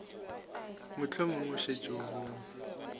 mohlomong o šetše o bone